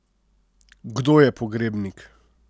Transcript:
Kdo je pogrebnik?